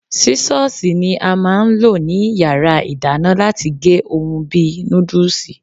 Sísọ́sìì ni a máa ń lò ní yàrá ìdáná láti gé ohun bí i núdùsì.